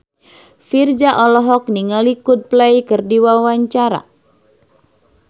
Virzha olohok ningali Coldplay keur diwawancara